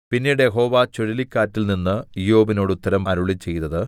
പിന്നീട് യഹോവ ചുഴലിക്കാറ്റിൽനിന്ന് ഇയ്യോബിനോട് ഉത്തരം അരുളിച്ചെയ്തത്